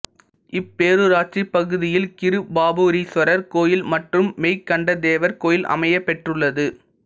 இப்பேரூராட்சிப் பகுதியில் கிருபாபுரீஸ்வரர் கோயில் மற்றும் மெய்கண்டதேவர் கோயில் அமையப்பெற்றுள்ளது